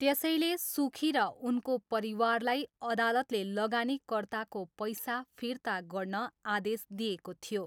त्यसैले सुखी र उनको परिवारलाई अदालतले लगानीकर्ताको पैसा फिर्ता गर्न आदेश दिएको थियो।